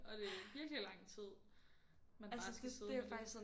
Og det virkelig lang tid man bare skal sidde med det